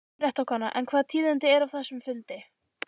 Fréttakona: En hvaða tíðindi eru af þessum fundi?